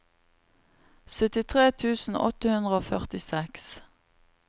syttitre tusen åtte hundre og førtiseks